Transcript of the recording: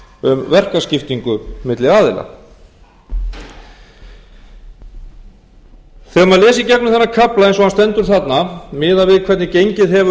um verkaskiptingu milli aðila þegar maður les í gegnum þennan kafla eins og hann stendur þarna miðað við hvernig gengið hefur